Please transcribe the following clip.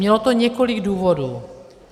Mělo to několik důvodů.